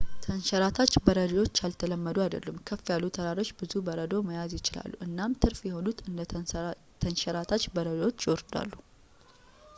ተንሸራታች በረዶዎች ያልተለመዱ አይደሉም ከፍ ያሉ ተራሮች ብዙ በረዶ መያዝ ይችላሉ እናም ትርፍ የሆኑት እንደ ተንሸራታች በረዶዎች ይወርዳሉ